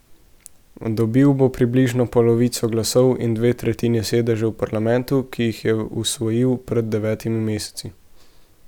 Dobil bo približno polovico glasov in dve tretjini sedežev v parlamentu, ki jih je osvojil pred devetimi meseci.